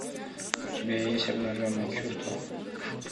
у тебя есть обнаженные чувства